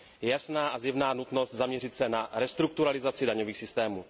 Je jasná a zjevná nutnost zaměřit se na restrukturalizaci daňových systémů.